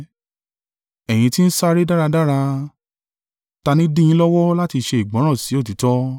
Ẹ̀yin ti ń sáré dáradára. Ta ni dí yin lọ́wọ́ láti ṣe ìgbọ́ràn sí òtítọ́?